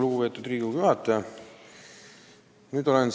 Lugupeetud Riigikogu juhataja!